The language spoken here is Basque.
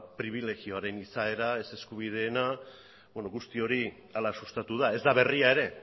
pribilegioaren izaera ez eskubideena beno guzti hori hala sustatu da ez da berria ere